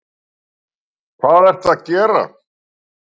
Hvað ertu að gera?